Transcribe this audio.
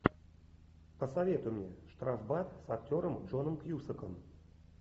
посоветуй мне штрафбат с актером джоном кьюсаком